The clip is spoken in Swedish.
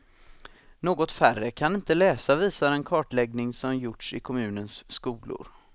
Något färre kan inte läsa, visar en kartläggning som gjorts i kommunens skolor.